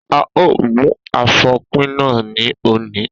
A ó mú afopina ní òní.